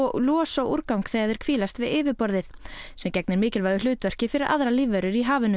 losa úrgang þegar þeir hvílast við yfirborðið sem gegnir mikilvægu hlutverki fyrir aðrar lífverur í hafinu